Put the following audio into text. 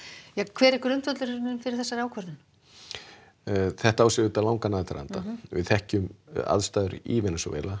hver er grundvöllurinn fyrir þeirri ákvörðun þetta á langan aðdraganda við þekkjum aðstæður í Venesúela